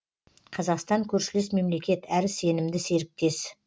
қазақстан көршілес мемлекет әрі сенімді серіктес